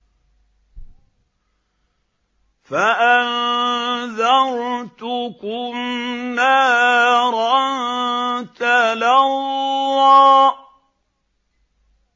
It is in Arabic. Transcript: فَأَنذَرْتُكُمْ نَارًا تَلَظَّىٰ